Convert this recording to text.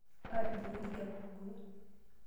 Aatijing'a enkijape orgoo.